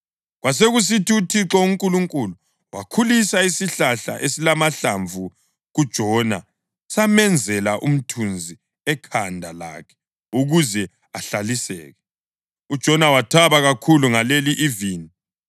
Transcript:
Kwasekusithi uThixo uNkulunkulu wakhulisa isihlahla esilamahlamvu kuJona samenzela umthunzi ekhanda lakhe ukuze ahlaliseke. UJona wathaba kakhulu ngaleli ivini.